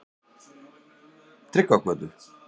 Tryggvagötu